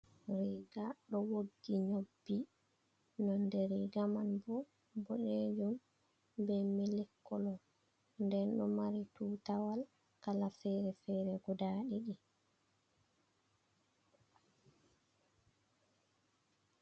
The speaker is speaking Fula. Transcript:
Riiga ɗo woggi nyobbi nonde riiga manbo boɗejum bee mili koolo nden ɗo maari tutaawal kala fere-fere guuda ɗiɗi.